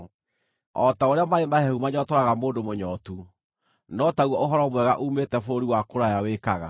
O ta ũrĩa maaĩ mahehu manyootoraga mũndũ mũnyootu, no taguo ũhoro mwega uumĩte bũrũri wa kũraya wĩkaga.